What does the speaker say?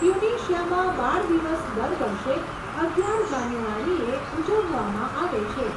ટ્યુનિશિયામાં બાળ દિવસ દર વર્ષે અગિયાર જાન્યુઆરીએ ઉજવવામાં આવે છે.